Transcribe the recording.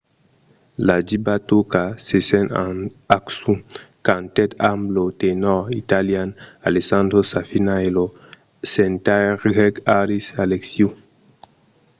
la diva turca sezen aksu cantèt amb lo tenòr italian alessandro safina e lo cantaire grèc haris alexiou